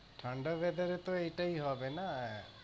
ঠাণ্ডার weather তো এটাই হবে না।